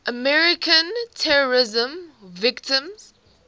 american terrorism victims